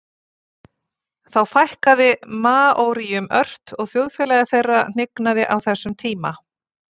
Þó fækkaði maóríum ört og þjóðfélagi þeirra hnignaði á þessum tíma.